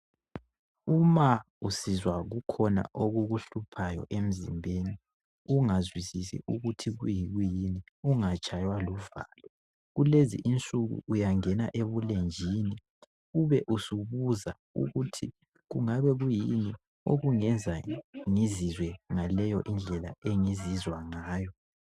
Uma usizwa kukhona okukuhluphayo emzimbeni ungazwisisi ukuthu kuyini ungatshaywa luvalo kulezinsuku uyangena ebulenjini ube usubuza ukuthi kungabe kuyini okungenza ngizizwe ngaleyo indlela engizizwa Nagy.